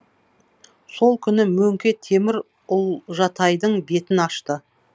сол күні мөңке темір ұлжатайдың бетін ашты